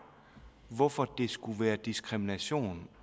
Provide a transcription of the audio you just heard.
hvorfor det skulle være diskrimination